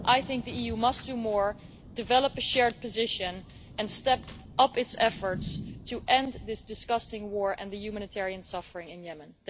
I think the EU must do more, develop a shared position and step up its efforts to end this disgusting war and the humanitarian suffering in Yemen.